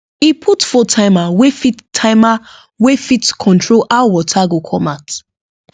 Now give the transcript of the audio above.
e put phone timer wey fit timer wey fit control how water go come out